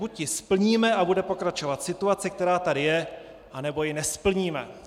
Buď ji splníme a bude pokračovat situace, která tady je, nebo ji nesplníme.